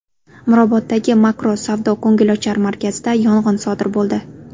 Miroboddagi Makro savdo-ko‘ngilochar markazida yong‘in sodir bo‘ldi.